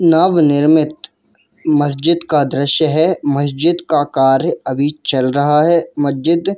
नव निर्मित मस्जिद का दृश्य है मस्जिद का कार्य अभी चल रहा है मस्जिद--